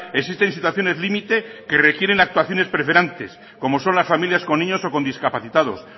existen situaciones límite que requieren actuaciones preferentes como son las familias con niños o con discapacitados